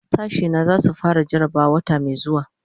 Sashena zai su fara jarabawa wata mai zuwa.